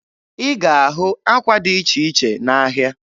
Ị ga-ahụ ákwà dị iche iche n'ahịa.